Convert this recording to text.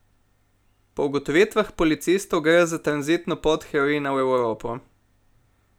Po ugotovitvah policistov gre za tranzitno pot heroina v Evropo.